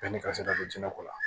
Yanni ka se ka don jinɛ ko la